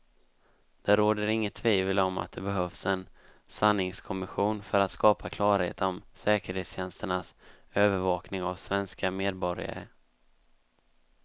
Det råder inget tvivel om att det behövs en sanningskommission för att skapa klarhet om säkerhetstjänsternas övervakning av svenska medborgare.